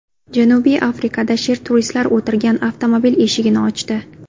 Janubiy Afrikada sher turistlar o‘tirgan avtomobil eshigini ochdi .